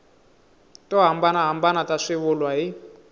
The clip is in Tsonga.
to hambanahambana ta swivulwa hi